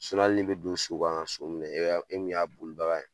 hali ni bɛ don so kan ka so minɛ, e min y'a bolibada ye